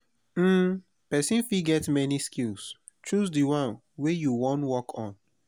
um persin fit get many skill choose di one wey you won work on